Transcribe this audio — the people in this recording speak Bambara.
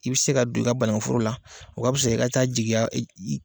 I bi se ka don i ka banakuforo la o ka pisa i ka taa jigiya .